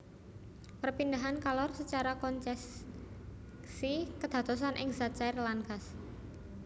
Perpindahan kalor secara konceksi kedadosan ing zat cair lan gas